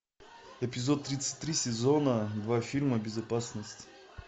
эпизод тридцать три сезона два фильма безопасность